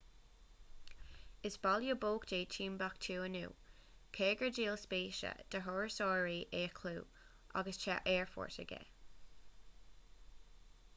is baile bocht é timbeactú inniu cé gur díol spéise do thurasóirí é a chlú agus tá aerfort aige